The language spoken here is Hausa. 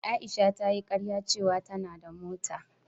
Aisha ta yi karya ce wa ta na da mota